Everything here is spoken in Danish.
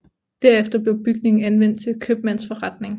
Derefter blev bygningen anvendt til købmandsforretning